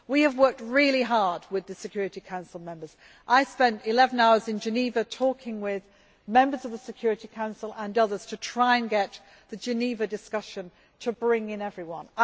We have worked really hard with the Security Council Members. I spent eleven hours in Geneva talking with members of the Security Council and others to try and get the Geneva discussion to bring in everyone.